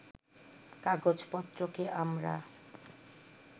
কাগজপত্রকে আমরা